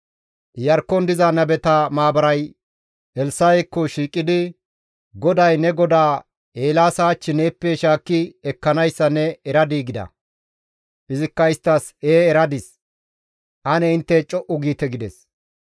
Iyarkkon diza nabeta maabaray Elssa7ekko shiiqidi, «GODAY ne godaa Eelaasa hach neeppe shaakki ekkanayssa ne eradii?» gida. Izikka isttas, «Ee eradis; ane intte co7u giite» gides.